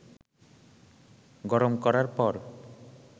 গরম করার পর